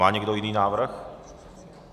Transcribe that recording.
Má někdo jiný návrh?